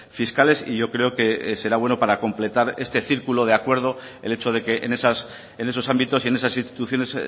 fiscales y yo creo que será bueno para completar este círculo de acuerdo el hecho de que en esos ámbitos y en esas instituciones